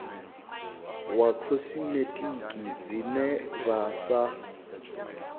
wa khosimetiki dzine vha sa